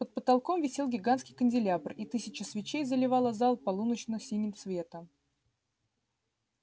под потолком висел гигантский канделябр и тысяча свечей заливала зал полуночно-синим светом